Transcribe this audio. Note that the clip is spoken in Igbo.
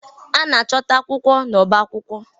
A na-achọta akwụkwọ n'ọba akwụkwọ.